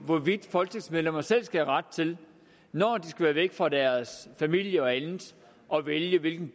hvorvidt folketingsmedlemmer selv skal have ret til når de skal være væk fra deres familier og andet at vælge hvilken